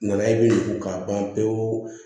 Nana ye n ko k'a ban pewu